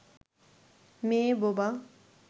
মেয়ে বোবা